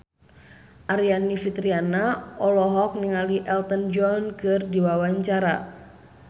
Aryani Fitriana olohok ningali Elton John keur diwawancara